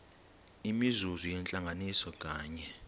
imizuzu yentlanganiso nganye